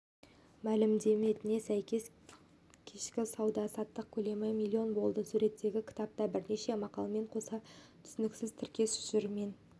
мәліметіне сәйкес кешкі сауда-саттық көлемі миллион болды суреттегі кітапта бірнеше мақалмен қоса түсініксіз тіркес жүр мен